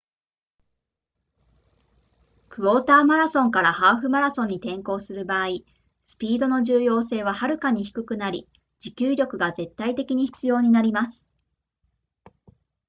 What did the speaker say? クォーターマラソンからハーフマラソンに転向する場合スピードの重要性ははるかに低くなり持久力が絶対的に必要になります